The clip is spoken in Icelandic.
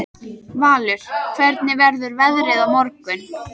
Valur, hvernig verður veðrið á morgun?